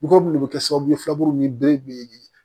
Mɔgɔ minnu bɛ kɛ sababu ye fuuru ni bere bɛ ye